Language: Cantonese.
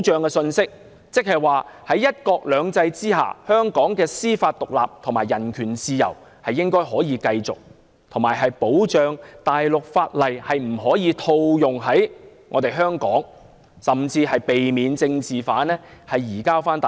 即是說，在"一國兩制"下，香港可繼續享有司法獨立及人權自由，以及大陸法例不可以套用在香港、政治犯不可移交到大陸。